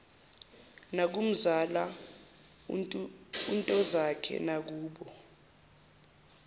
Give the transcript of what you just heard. nakumzala untozakhe nakubo